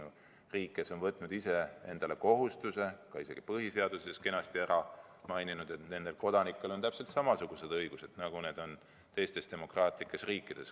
Ta on riik, kes on ise võtnud endale kohustuse ja isegi põhiseaduses kenasti ära maininud, et tema kodanikel on täpselt samasugused õigused, nagu on teistes demokraatlikes riikides.